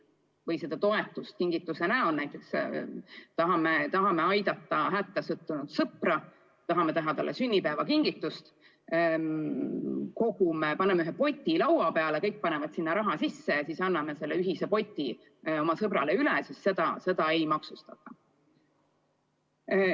Kui me tahame toetust avaldada kingituse näol, näiteks tahame aidata hätta sattunud sõpra, tahame teha talle sünnipäevakingituse, paneme ühe poti laua peale, kõik panevad sinna raha sisse ja siis anname selle poti oma sõbrale üle, siis seda ei maksustata.